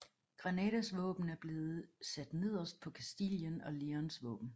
Granadas våben er blevet sat nederst på Kastilien og Leóns våben